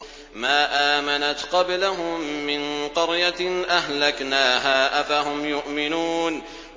مَا آمَنَتْ قَبْلَهُم مِّن قَرْيَةٍ أَهْلَكْنَاهَا ۖ أَفَهُمْ يُؤْمِنُونَ